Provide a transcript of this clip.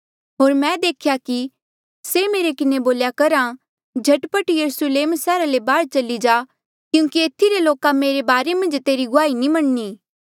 होर मैं देख्या कि से मेरे किन्हें बोल्या करहा झट पट यरुस्लेम सैहरा ले बाहर चली जा क्यूंकि येथी रे लोका मेरे बारे मन्झ तेरी गुआही नी मन्नणी